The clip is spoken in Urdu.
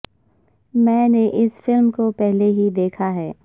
میں نے اس فلم کو پہلے ہی دیکھا ہے